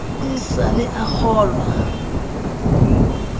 e sa le a kgolwa